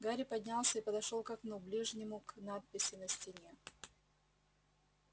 гарри поднялся и подошёл к окну ближнему к надписи на стене